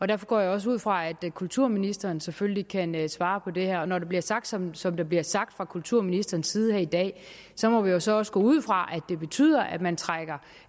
derfor går jeg også ud fra at kulturministeren selvfølgelig kan kan svare på det her når der bliver sagt som som der bliver sagt fra kulturministerens side her i dag så må vi jo så også gå ud fra at det betyder at man trækker